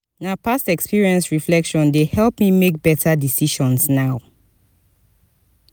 na past experience reflection dey help me make beta decisions now.